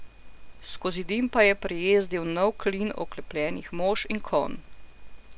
Skozi dim pa je prijezdil nov klin oklepljenih mož in konj.